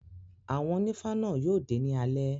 Àwọn onífá náà yóò dé ní alé.